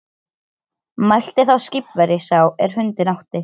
Mælti þá skipverji sá er hundinn átti